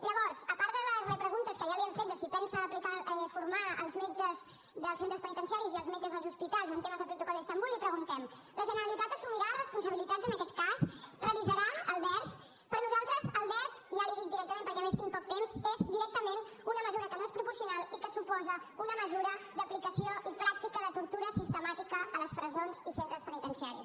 llavors a part de les repreguntes que ja li hem fet de si pensa formar els metges dels centres penitenciaris i els metges dels hospitals en temes de protocol d’istambul li preguntem la generalitat assumirà responsabilitats en aquest cas revisarà el dert per nosaltres el dert ja li ho dic directament perquè a més tinc poc temps és directament una mesura que no és proporcional i que suposa una mesura d’aplicació i pràctica de tortura sistemàtica a les presons i centres penitenciaris